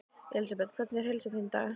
Elísabet: Hvernig er heilsa þín í dag?